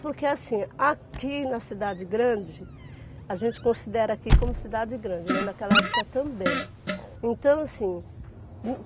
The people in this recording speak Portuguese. Porque assim, aqui na cidade grande, a gente considera aqui como cidade grande, né, naquela época também. Então assim